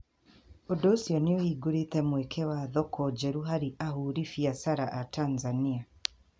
Ũndũ ũcio nĩ ũhingũrĩtĩ mweke wa thoko njerũ harĩ ahũri biacara a Tanzania.